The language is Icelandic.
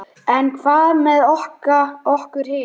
En hvað með okkur hin?